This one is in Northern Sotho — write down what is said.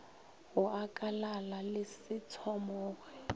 go akalala le se tshwamoge